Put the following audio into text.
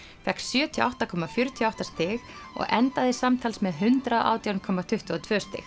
fékk sjötíu og átta komma fjörutíu og átta stig og endaði samtals með hundrað og átján komma tuttugu og tvö stig